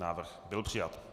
Návrh byl přijat.